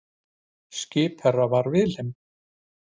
Skipherra var Wilhelm